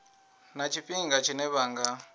na tshifhinga tshine vha nga